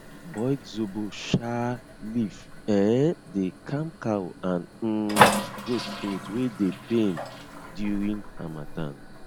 boiled zobo um leaf um dey calm cow and um goat throat wey dey pain during harmattan